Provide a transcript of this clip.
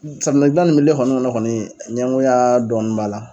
Safinɛ dilan kɔni kɔnɔ kɔni ɲɛgoya dɔɔni b'a la.